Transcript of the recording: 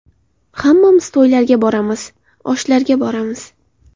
Hammamiz to‘ylarga boramiz, oshlarga boramiz.